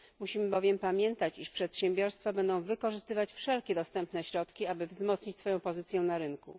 Musimy bowiem pamiętać, iż przedsiębiorstwa będą wykorzystywać wszelkie dostępne środki, aby wzmocnić swoją pozycję na rynku.